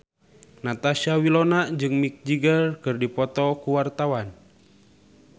Natasha Wilona jeung Mick Jagger keur dipoto ku wartawan